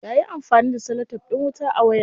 Yayi amfani da celotef din wuta a wayar.